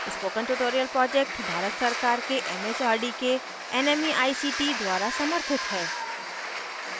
spoken tutorial project Bharat सरकार के M H R D के nmeict द्वारा समर्थित है